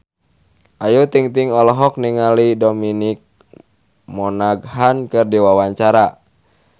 Ayu Ting-ting olohok ningali Dominic Monaghan keur diwawancara